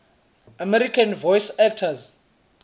american voice actors